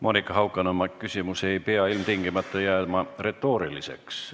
Monika Haukanõmme küsimus ei pea ilmtingimata jääma retooriliseks.